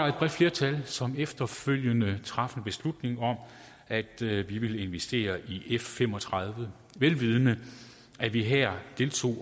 et bredt flertal som efterfølgende traf en beslutning om at vi ville investere i f fem og tredive vel vidende at vi her